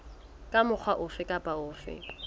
ka mokgwa ofe kapa ofe